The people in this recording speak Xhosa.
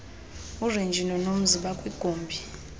urenji nonomzi bakwigumbi